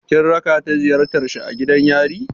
Kin raka ta ziyartar shi a gidan yari?